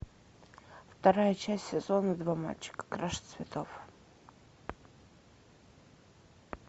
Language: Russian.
вторая часть сезона два мальчики краше цветов